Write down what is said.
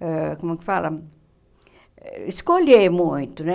ãh como que fala, escolher muito, né?